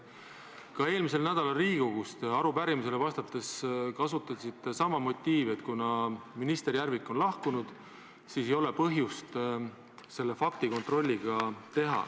Ka eelmisel nädalal Riigikogus arupärimisele vastates kasutasite sama motiivi, et kuna minister Järvik on lahkunud, siis ei ole põhjust seda fakti kontrollida.